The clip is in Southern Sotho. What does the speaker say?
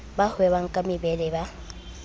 ba hwebang ka mebele ba